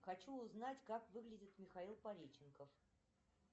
хочу узнать как выглядит михаил пореченков